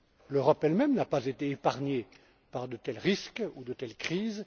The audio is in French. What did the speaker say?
L'Europe elle même n'a pas été épargnée par de tels risques ou de telles crises.